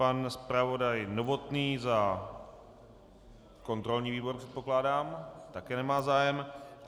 Pan zpravodaj Novotný za kontrolní výbor předpokládám - také nemá zájem.